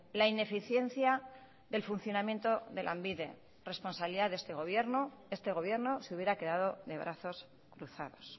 la ineficiencia del funcionamiento de lanbide responsabilidad de este gobierno este gobierno se hubiera quedado de brazos cruzados